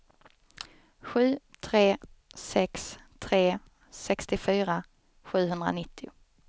sju tre sex tre sextiofyra sjuhundranittio